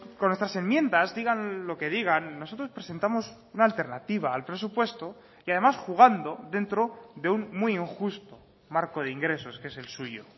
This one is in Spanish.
con nuestras enmiendas digan lo que digan nosotros presentamos una alternativa al presupuesto y además jugando dentro de un muy injusto marco de ingresos que es el suyo